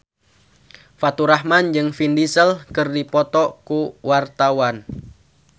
Faturrahman jeung Vin Diesel keur dipoto ku wartawan